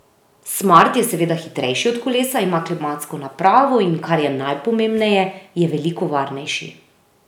Smart je seveda hitrejši od kolesa, ima klimatsko napravo in, kar je najpomembneje, je veliko varnejši.